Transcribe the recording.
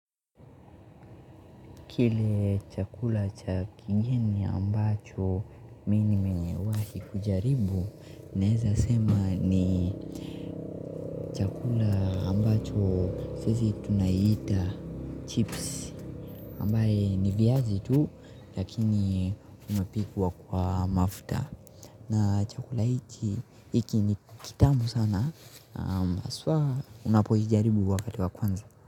Kile chakula cha kigeni ambacho mimi nimewahi kujaribu naweza sema ni chakula ambacho sisi tunaiita chips ambaye ni viazi tu lakini inapikwa kwa mafuta na chakula hiki hiki ni kitamu sana haswa unapoijaribu wakati wa kwanza.